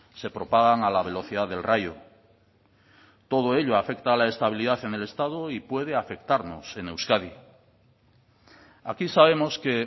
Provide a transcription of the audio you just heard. se propagan a la velocidad del rayo todo ello afecta a la estabilidad en el estado y puede afectarnos en euskadi aquí sabemos que